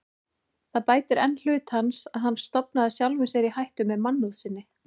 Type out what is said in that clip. Það bætir enn hlut hans, að hann stofnaði sjálfum sér í hættu með mannúð sinni.